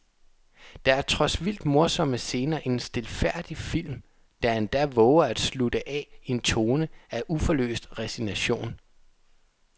Der er trods vildt morsomme scener en stilfærdig film, der endda vover at slutte af i en tone af uforløst resignation.